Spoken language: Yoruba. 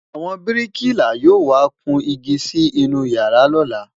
àwọn biriki là yọ wà kàn ìgi Si inú yàrá lola